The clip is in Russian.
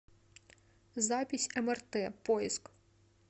запись мрт поиск